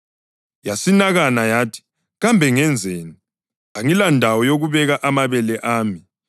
Yasinakana yathi, ‘Kambe ngenzeni? Angilandawo yokubeka amabele ami.’